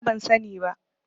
Ni ma ban sani ba.